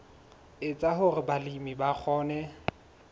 etsa hore balemi ba kgone